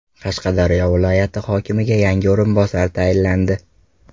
Qashqadaryo viloyati hokimiga yangi o‘rinbosar tayinlandi.